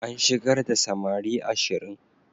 An shigar da samari ashirin.